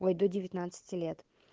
ой до девятнадцати лет